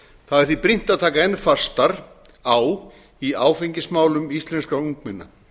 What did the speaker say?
það er því brýnt að taka enn fastar á í áfengismálum íslenskra ungmenna